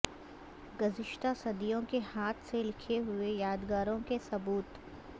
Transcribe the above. گزشتہ صدیوں کے ہاتھ سے لکھے ہوئے یادگاروں کے ثبوت